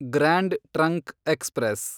grand trunk express